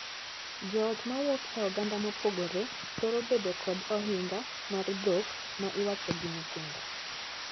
Joot ma wuok e oganda mopogore thoro bedo kod ohinga mar dhok ma iwacho gi nyithindo.